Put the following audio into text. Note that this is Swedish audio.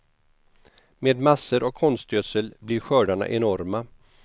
Med massor av konstgödsel blir skördarna enorma.